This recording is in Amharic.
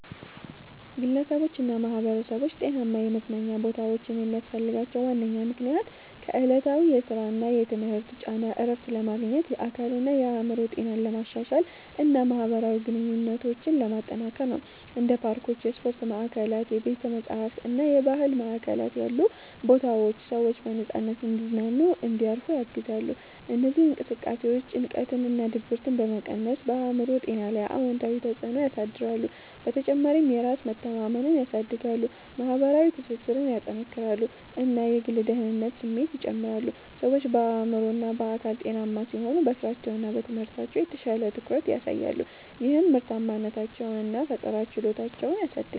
ግለሰቦችና ማኅበረሰቦች ጤናማ የመዝናኛ ቦታዎችን የሚያስፈልጋቸው ዋነኛ ምክንያት ከዕለታዊ የሥራና የትምህርት ጫና እረፍት ለማግኘት፣ የአካልና የአእምሮ ጤናን ለማሻሻል እና ማኅበራዊ ግንኙነቶችን ለማጠናከር ነው። እንደ ፓርኮች፣ የስፖርት ማዕከላት፣ ቤተ-መጻሕፍት እና የባህል ማዕከላት ያሉ ቦታዎች ሰዎች በነፃነት እንዲዝናኑና እንዲያርፉ ያግዛሉ። እነዚህ እንቅስቃሴዎች ጭንቀትንና ድብርትን በመቀነስ በአእምሮ ጤና ላይ አዎንታዊ ተጽዕኖ ያሳድራሉ። በተጨማሪም የራስ መተማመንን ያሳድጋሉ፣ የማኅበራዊ ትስስርን ያጠናክራሉ እና የግል ደህንነት ስሜትን ይጨምራሉ። ሰዎች በአእምሮና በአካል ጤናማ ሲሆኑ በሥራቸውና በትምህርታቸው የተሻለ ትኩረት ያሳያሉ፣ ይህም ምርታማነታቸውን እና ፈጠራ ችሎታቸውን ያሳድጋል